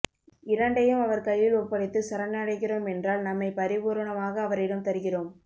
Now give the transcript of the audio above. இரண்டையும் அவர் கையில் ஒப்படைத்துச் சரணடைகிறோம் என்றால் நம்மைப் பரிபூரணமாக அவரிடம் தருகிறோம்